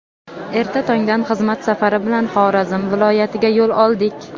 Erta tongdan xizmat safari bilan Xorazm viloyatiga yo‘l oldik.